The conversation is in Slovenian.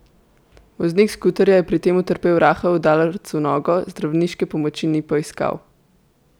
Voznik skuterja je pri tem utrpel rahel udarec v nogo, zdravniške pomoč ni poiskal.